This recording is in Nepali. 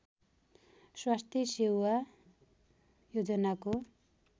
स्वास्थ्य सेवा योजनाको